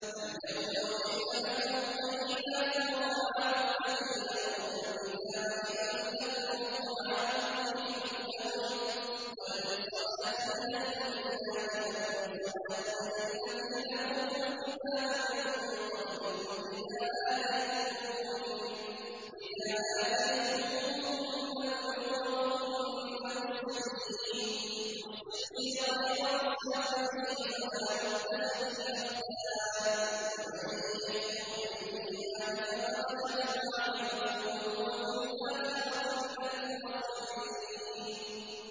الْيَوْمَ أُحِلَّ لَكُمُ الطَّيِّبَاتُ ۖ وَطَعَامُ الَّذِينَ أُوتُوا الْكِتَابَ حِلٌّ لَّكُمْ وَطَعَامُكُمْ حِلٌّ لَّهُمْ ۖ وَالْمُحْصَنَاتُ مِنَ الْمُؤْمِنَاتِ وَالْمُحْصَنَاتُ مِنَ الَّذِينَ أُوتُوا الْكِتَابَ مِن قَبْلِكُمْ إِذَا آتَيْتُمُوهُنَّ أُجُورَهُنَّ مُحْصِنِينَ غَيْرَ مُسَافِحِينَ وَلَا مُتَّخِذِي أَخْدَانٍ ۗ وَمَن يَكْفُرْ بِالْإِيمَانِ فَقَدْ حَبِطَ عَمَلُهُ وَهُوَ فِي الْآخِرَةِ مِنَ الْخَاسِرِينَ